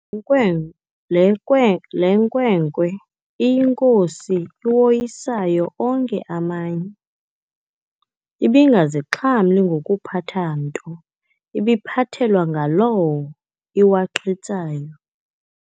Nkwe Le nkwe le nkwenkwe iyinkosi iwoyisayo onke amanye, ibingazixhamli ngokuphatha nto, ibiphathelwa ngalawo iwaqhitsayo.